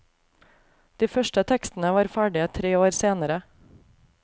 De første tekstene var ferdig tre år senere.